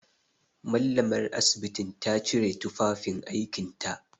Mallamar asibiti ta cire tufafin aikinta.